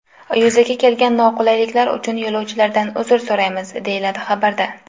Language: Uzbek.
Yuzaga kelgan noqulaylik uchun yo‘lovchilardan uzr so‘raymiz”, deyiladi xabarda.